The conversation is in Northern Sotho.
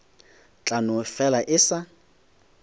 tla no fela e sa